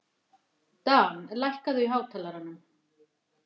Dan, lækkaðu í hátalaranum.